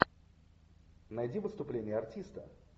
найди выступление артиста